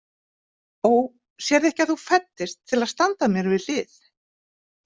Ó, sérðu ekki að þú fæddist til að standa mér við hlið?